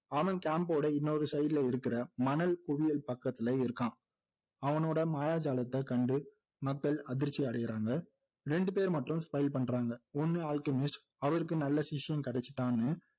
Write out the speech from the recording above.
அவன் camp ஓட இன்னொரு side ல இருக்கிற மணல் குவியல் பக்கத்துல இருக்கான் அவனோட மாயாஜாலத்தை கண்டு மக்கள் அதிர்ச்சி அடையிறாங்க ரெண்டுபேர் மட்டும் smile பண்றாங்க ஒன்னு அல்கெமிஸ்ட் அவருக்கு நல்ல சிஷ்யன் கிடைச்சுட்டான்னு